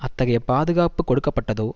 அத்தகைய பாதுகாப்பு கொடுக்கப்பட்டதோ